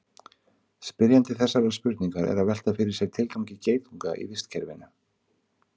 spyrjandi þessarar spurningar er að velta fyrir sér tilgangi geitunga í vistkerfinu